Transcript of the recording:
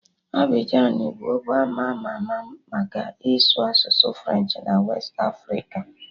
Abịjan bụ obdo ama ama maka ịsụ asụsụ Frenchị na westị Afrịka